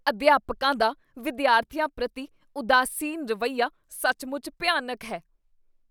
ਅਧਿਆਪਕਾਂ ਦਾ ਵਿਦਿਆਰਥੀਆਂ ਪ੍ਰਤੀ ਉਦਾਸੀਨ ਰਵੱਈਆ ਸੱਚਮੁੱਚ ਭਿਆਨਕ ਹੈ।